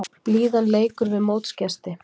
Blíðan leikur við mótsgesti